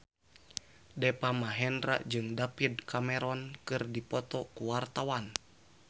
Deva Mahendra jeung David Cameron keur dipoto ku wartawan